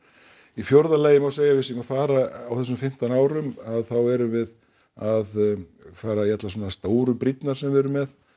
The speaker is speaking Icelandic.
í fjórða lagi má segja að við séum að fara á þessum fimmtán árum að þá erum við að fara í allar svona stóru brýrnar sem við erum með